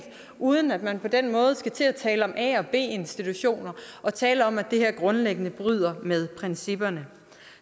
uden at man på den måde skal til at tale om a og b institutioner og tale om at det her grundlæggende bryder med principperne